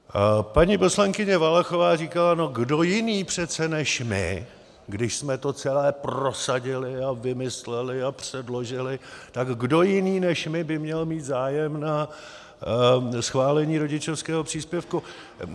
Paní poslankyně Valachová říkala: no kdo jiný přece než my, když jsme to celé prosadili a vymysleli a předložili, tak kdo jiný než my by měl mít zájem na schválení rodičovského příspěvku?